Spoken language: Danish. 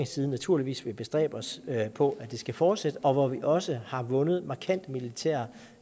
side naturligvis vil bestræbe os på at det skal fortsætte og hvor vi også har vundet markante militære